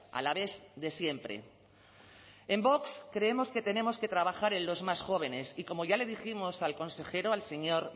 alavés de siempre en vox creemos que tenemos que trabajar en los más jóvenes y como ya le dijimos al consejero al señor